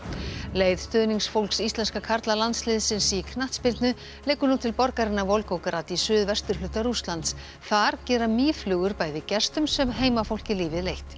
leið stuðningsfólks íslenska karlalandsliðsins í knattspyrnu liggur nú til borgarinnar Volgograd í suð vesturhluta Rússlands þar gera mýflugur bæði gestum sem heimafólki lífið leitt